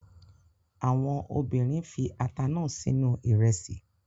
Àwọn obìnrin fi ata náà sínú ìrẹsì